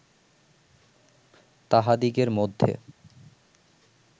তাহাদিগের মধ্যে